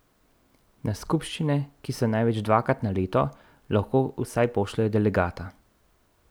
Na skupščine, ki so največ dvakrat na leto, lahko vsaj pošljejo delegata.